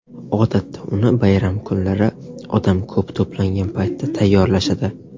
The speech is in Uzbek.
Odatda uni bayram kunlari, odam ko‘p to‘plangan paytda tayyorlashadi.